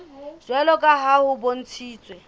jwalo ka ha ho bontshitswe